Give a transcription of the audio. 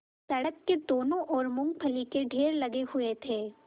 सड़क की दोनों ओर मूँगफली के ढेर लगे हुए थे